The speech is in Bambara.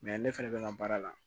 ne fɛnɛ bɛ n ka baara la